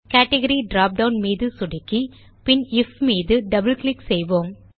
category dropdown மீது click செய்து பின் ஐஎஃப் மீது டபிள் கிளிக் செய்வோம்